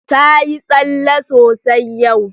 Ta yi tsalle sosai yau.